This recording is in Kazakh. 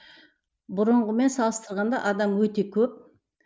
бұрынғымен салыстырғанда адам өте көп